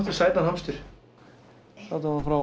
sætan hamstur látum hann fá